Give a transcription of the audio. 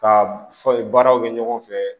Ka fɔ baaraw kɛ ɲɔgɔn fɛ